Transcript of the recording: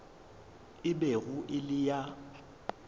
e bego e le ya